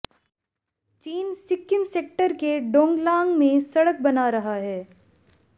चीन सिक्किम सेक्टर के डोंगलांग में सडक बना रहा है